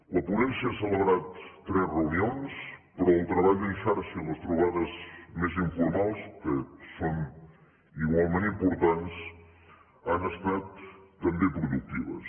la ponència ha celebrat tres reunions però el treball en xarxa i les trobades més informals que són igualment importants han estat també productives